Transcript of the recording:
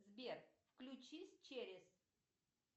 сбер включись через